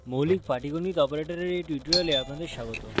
মৌলিক পাটীগণিত অপারেটরের এই tutorial আপনাদের স্বাগত